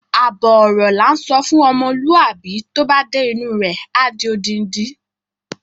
Àbọ̀ ọ̀rọ̀ la ńsọ fún ọmọlúwàbí, tó bá dé inú u rẹ̀, á di odindi.